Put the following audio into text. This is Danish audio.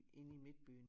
Inde i midtbyen